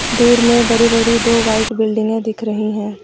दूर में बड़ी बड़ी दो वाइट बिल्डिंगे दिख रही हैं।